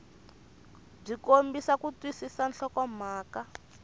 byi kombisa ku twisisa nhlokomhaka